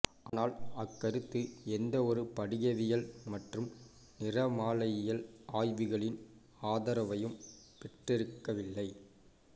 ஆனால் அக்கருத்து எந்தவொரு படிகவியல் மற்றும் நிறமாலையியல் ஆய்வுகளின் ஆதரவையும் பெற்றிருக்கவில்லை